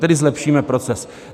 Tedy zlepšíme proces.